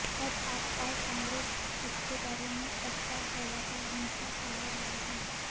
अब आप और कांग्रेस इसके बारे में अफवाह फैलाकर हिंसा फैला रहे हैं